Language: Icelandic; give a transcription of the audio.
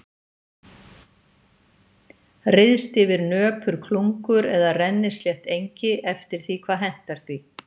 Ryðst yfir nöpur klungur eða rennislétt engi eftir því hvað hentar því.